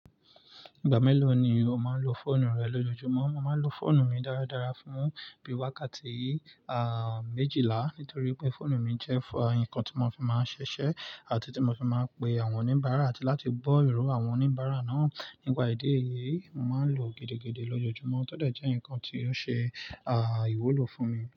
Ìgbà mélòó ni o máa ń lo fóònù rẹ lójoojúmọ́? Mo máa ń lo fóònù mi dáradára fún bí i wákàtí, ah, méjìlá nítorí pé fóònù mi jẹ́ fún ǹkan tí mo fi máa ń ṣiṣẹ́ àti tí mo fi máa ń pe àwọn oníbàárà àti láti gbọ́ ìró àwọn oníbàárà náà. Nípà idi èyìí, mo máa ń lò ó gidigidi lójoojúmọ́, tọ́ de jẹ́ ǹkan tí ó ṣe, ah, ìwúlò fún mi.